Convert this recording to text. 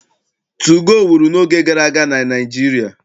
Tugoo wuru n'oge gara aga na Naịjirịa.